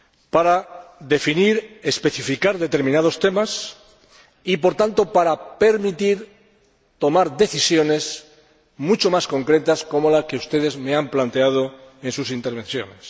para definir y especificar determinados temas y, por tanto, para permitir la toma de decisiones mucho más concretas, como las que ustedes me han planteado en sus intervenciones.